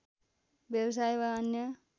व्यवसाय वा अन्य